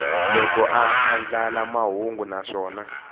loko a andlala mahungu naswona